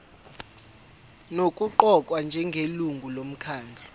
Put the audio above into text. nokuqokwa njengelungu lomkhandlu